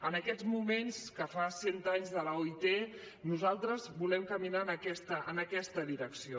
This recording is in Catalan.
en aquests moments que fa cent anys de l’oit nosaltres volem caminar en aquesta direcció